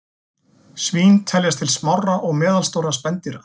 Svín teljast til smárra og meðalstórra spendýra.